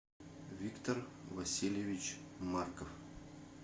виктор васильевич марков